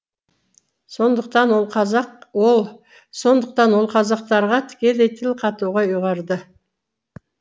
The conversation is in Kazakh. сондықтан ол қазақ ол сондықтан ол қазақтарға тікелей тіл қатуға ұйғарды